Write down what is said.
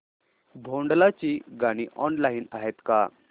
भोंडला ची गाणी ऑनलाइन आहेत का